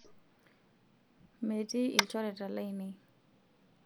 metii ilchoreta lainei